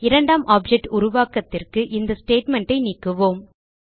இரண்டாம் ஆப்ஜெக்ட் உருவாக்கத்திற்கு இந்த ஸ்டேட்மெண்ட் ஐ நீக்குவோம்